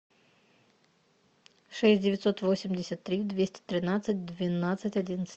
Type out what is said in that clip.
шесть девятьсот восемьдесят три двести тринадцать двенадцать одиннадцать